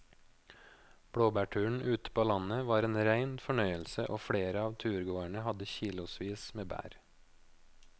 Blåbærturen ute på landet var en rein fornøyelse og flere av turgåerene hadde kilosvis med bær.